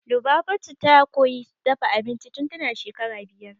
Lubabatu ta koya dafa abinci tun tana shekara biyar